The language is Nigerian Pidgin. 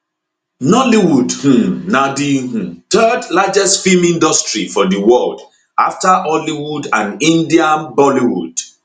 nollywood um na di um third largest feem industry for di world afta hollywood and india bollywood